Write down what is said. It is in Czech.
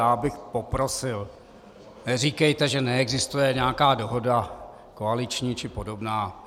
Já bych poprosil, neříkejte, že neexistuje nějaká dohoda koaliční či podobná.